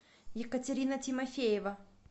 екатерина тимофеева